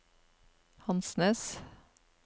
Hansnes